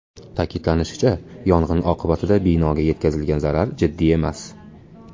Ta’kidlanishicha, yong‘in oqibatida binoga yetkazilgan zarar jiddiy emas.